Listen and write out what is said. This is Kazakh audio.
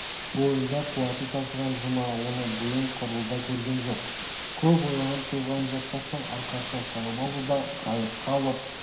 бойында қуаты тасыған жұма оны бұйым құрлы да көрген жоқ көп ойланып-толғанып жатпастан арқасына салып алды да қайыққа алып